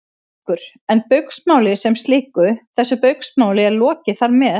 Haukur: En Baugsmáli sem slíku, þessu Baugsmáli er lokið þar með?